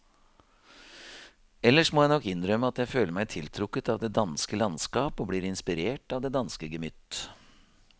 Ellers må jeg nok innrømme at jeg føler meg tiltrukket av det danske landskap og blir inspirert av det danske gemytt.